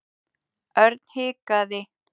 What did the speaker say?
Örn hikaði.